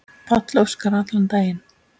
Páll Óskar allan daginn.